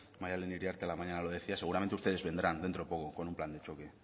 maddalen iriarte a la mañana lo decía seguramente ustedes vendrán dentro de poco con un plan de choque